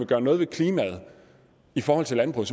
gøre noget ved klimaet i forhold til landbruget